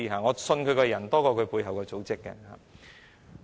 我相信他個人多於他背後的組織。